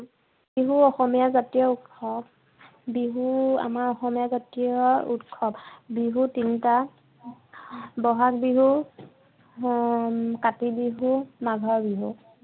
বিহু অসমীয়া জতীয় ঊৎসৱ বিহু আমাৰ অসমীয়া জতীয় ঊৎসৱ বিহু তিনিতা বহাগ বিহু, , কাতি বিহু, মাঘৰ বিহু।